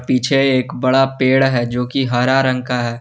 पीछे एक बड़ा पेड़ है जोकि हरा रंग का है।